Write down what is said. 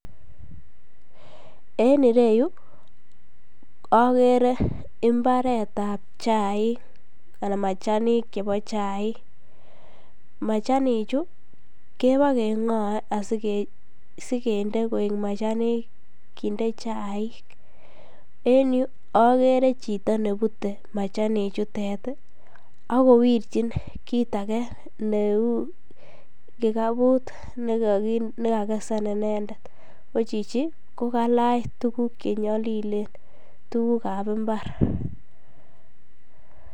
En ireyu okere imbaretab chaik anan machanik chebo chaik, machanichu kebokengoe asikinde koik machanik kinde chaik, en yuu okere chito nebute machanichutet ak kowirchin kiit akee neuu kikabut nekakesen inendet, ko chichii ko kalach tukuk chenyolilen tukukab imbar.